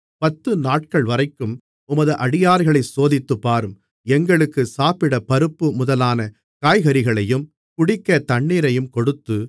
பத்துநாட்கள்வரைக்கும் உமது அடியார்களைச் சோதித்துப்பாரும் எங்களுக்கு சாப்பிட பருப்பு முதலான காய்கறிகளையும் குடிக்கத் தண்ணீரையும் கொடுத்து